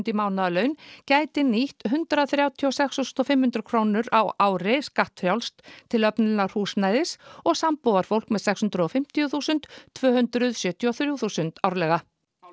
í mánaðarlaun gæti nýtt hundrað þrjátíu og sex þúsund og fimm hundruð krónur á ári skattfrjálst til öflunar húsnæðis og sambúðarfólk með sex hundruð og fimmtíu þúsund tvö hundruð sjötíu og þrjú þúsund árlega